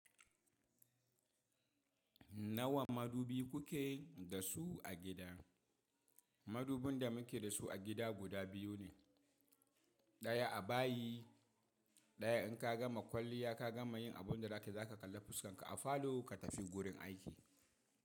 Nawa madubi kuke da su a gida? Madubin da muke da su a gida guda biyu ne. Ɗaya a bayi, ɗaya in ka gama kwalliya ka gama yin abun da za kai zaka kalli fuskan ka a falo ka tafi gurin aiki.